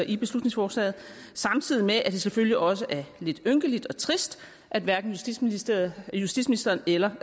i beslutningsforslaget samtidig med at det selvfølgelig også er lidt ynkeligt og trist at hverken justitsministeren justitsministeren eller